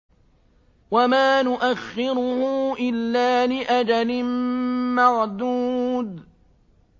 وَمَا نُؤَخِّرُهُ إِلَّا لِأَجَلٍ مَّعْدُودٍ